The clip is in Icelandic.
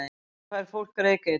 Af hverju fær fólk reykeitrun?